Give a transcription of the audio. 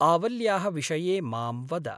आवल्याः विषये मां वद।